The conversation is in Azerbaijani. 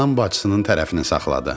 Anam bacısının tərəfini saxladı.